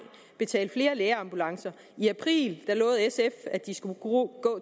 betale for flere lægeambulancer i april lovede sf at de skulle gå